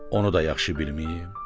Onu da yaxşı bilməyib.